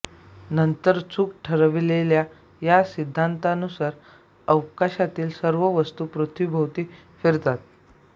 नंतर चूक ठरविलेल्या या सिद्धांतानुसार अवकाशातील सर्व वस्तू पृथ्वीभोवती फिरतात